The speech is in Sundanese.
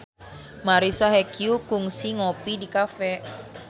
Marisa Haque kungsi ngopi di cafe